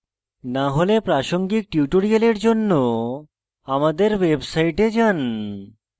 না হলে প্রাসঙ্গিক tutorials জন্য আমাদের website যান